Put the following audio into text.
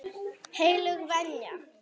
Heilög venja.